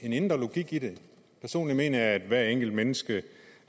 en indre logik i det personligt mener jeg at hvert enkelt menneske